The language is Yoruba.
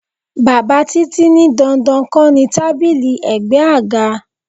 Bàbá Títí ní dandan kó ní tábìlì ègbé àga.